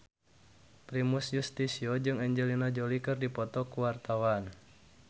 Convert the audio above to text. Primus Yustisio jeung Angelina Jolie keur dipoto ku wartawan